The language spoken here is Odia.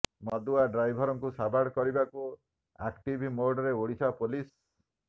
ମଦୁଆ ଡ୍ରାଇଭରଙ୍କୁ ସାବାଡ କରିବାକୁ ଆକ୍ଟିଭ ମୋଡରେ ଓଡ଼ିଶା ପୋଲିସ